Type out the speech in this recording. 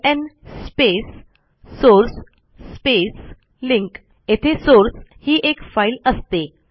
LN space source space link येथे source ही एक फाईल असते